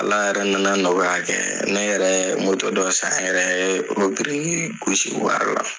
Ala yɛrɛ nana nɔgɔya kɛɛ, ne yɛrɛ yɛ dɔ san yɛrɛ ye o birikii gosi wɔri la.